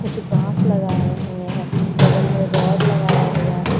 कुछ बांस लगाए हुए हैं बगल में रॉड लगाया हुआ --